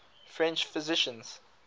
french physicians